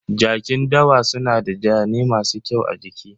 Jakin dawa suna da zane masu kyau a jiki.